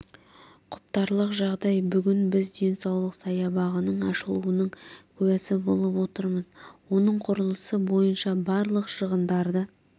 құптарлық жағдай бүгін біз денсаулық саябағының ашылуының куәсі болып отырмыз оның құрылысы бойынша барлық шығындарды